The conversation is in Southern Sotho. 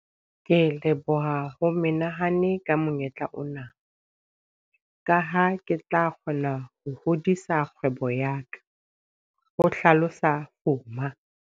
Ke leboha ho menehane ka monyetla ona, ka ha ke tla kgona ho hodisa kgwebo ya ka, ho hlalosa Fuma.